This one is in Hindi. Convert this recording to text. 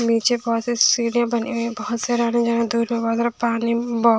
नीचे बहुत से सीढ़ियां बनी हुई बहुत --